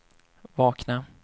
vakna